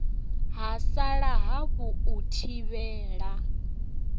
ha sala hafu u thivhela